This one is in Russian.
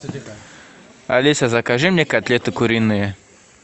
алиса закажи мне котлеты куриные